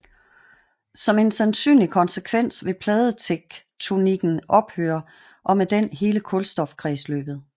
Som en sandsynlig konsekvens vil pladetektonikken ophøre og med den hele kulstofkredsløbet